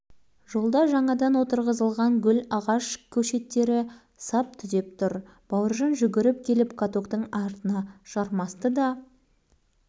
талғатты баса-көктеп барып жанына отыра кетіп рульге жармасты талай шыр айналдырған ойыншық машинанікіндей емес катоктың рулі